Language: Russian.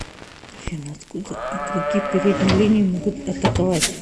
афина откуда игроки передней линии могут атаковать